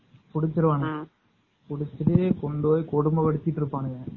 புடிச்சுருவாங்க புடிச்சு கொண்டுபோய் கொடும படுத்திட்டு இருப்பாங்க.